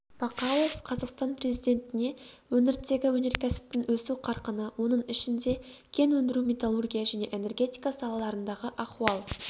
бақауов қазақстан президентіне өңірдегі өнеркәсіптің өсу қарқыны оның ішінде кен өндіру металлургия және энергетика салаларындағы ахуал